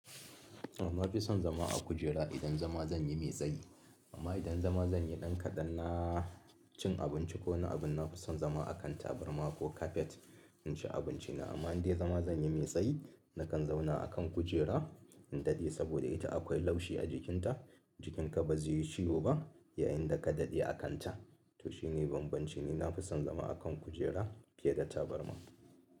Amma bai son zama a kujera idan zama zan yi mai tsayi. Amma idan zama zan yi ɗan kaɗan na cin abinci ko wani abin na fi son zama a kan tabarma ko kafet in ci abinci na. Amma in dai zama zan yi mai tsayi, nakan zauna a kan kujera in daɗe saboda ita akwai laushi a jikinta. Jikinka ba zai yi ciwo ba yayin da ka daɗe a kanta. To shi ne bambancin, ni na fi son zama a kan kujera fiye da tabarma.